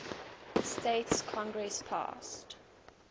states congress passed